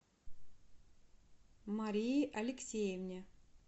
марии алексеевне